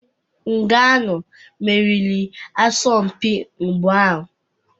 Nganou meriri asọmpi mgba ahụ.